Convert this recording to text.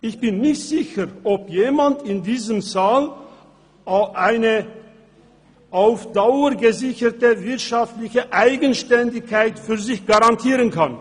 Ich bin nicht sicher, ob jemand in diesem Saal eine auf Dauer gesicherte wirtschaftliche Eigenständigkeit für sich garantieren kann.